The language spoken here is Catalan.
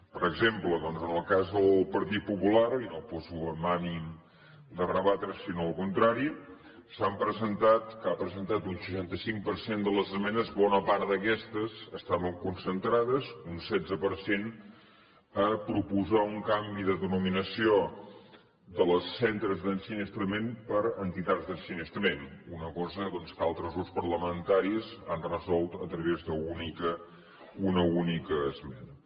per exemple doncs en el cas del partit popular i no ho poso amb ànim de rebatreho sinó al contrari que ha presentat un seixanta cinc per cent de les esmenes bona part d’aquestes estaven concentrades un setze per cent a proposar un canvi de denominació dels centres d’ensinistrament per entitats d’ensinistrament una cosa doncs que altres grups parlamentaris han resolt a través d’una única esmena